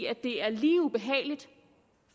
er lige ubehageligt